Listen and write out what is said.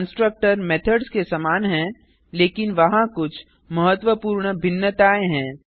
constructor methods के समान हैं लेकिन वहाँ कुछ महत्वपूर्ण भिन्नताएँ हैं